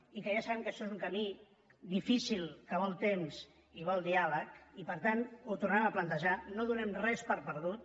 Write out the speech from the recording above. i ja sabem que això és un camí difícil que vol temps i vol diàleg i per tant ho tornarem a plantejar no donem res per perdut